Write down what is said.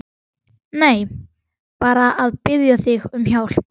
Nei, bara að biðja þig um hjálp.